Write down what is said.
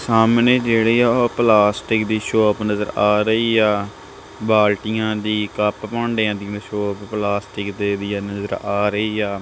ਸਾਹਮਣੇ ਜੇਹੜੇ ਆ ਓਹ ਪਲਾਸਟਿਕ ਦੀ ਸ਼ੌਪ ਨਜ਼ਰ ਆ ਰਹੀ ਆ ਬਾਲਟੀਆਂ ਦੀ ਕੱਪ ਭਾਂਡਿਆਂ ਦੀ ਸ਼ੌਪ ਪਲਾਸਟਿਕ ਦੇ ਵੀ ਆ ਨਜ਼ਰ ਆ ਰਹੀ ਆ।